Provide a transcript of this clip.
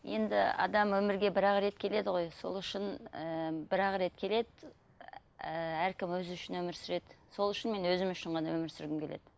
енді адам өмірге бір ақ реті келеді ғой сол үшін ыыы бір ақ рет келеді ііі әркім өзі үшін өмір сүреді сол үшін мен өзім үшін ғана өмір сүргім келеді